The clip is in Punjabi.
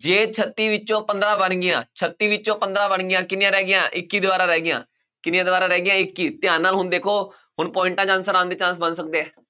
ਜੇ ਛੱਤੀ ਵਿੱਚੋਂ ਪੰਦਰਾਂ ਬਣ ਗਈਆਂ ਛੱਤੀ ਵਿੱਚੋਂ ਪੰਦਰਾਂ ਬਣ ਗਈਆਂ ਕਿੰਨੀਆਂ ਰਹਿ ਗਈਆਂ ਇੱਕੀ ਦੀਵਾਰਾਂ ਰਹਿ ਗਈਆਂ, ਕਿੰਨੀਆਂ ਦੀਵਾਰਾਂ ਰਹਿ ਗਈਆਂ ਇੱਕੀ, ਧਿਆਨ ਨਾਲ ਹੁਣ ਦੇਖੋ ਹੁਣ ਪੋਇਟਾਂ 'ਚ answer ਆਉਣ ਦੇ chance ਬਣ ਸਕਦੇ ਹੈ।